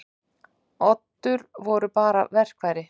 Oddur voru bara verkfæri.